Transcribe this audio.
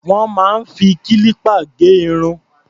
Wọ́n máa ń fi kílípà gé irun.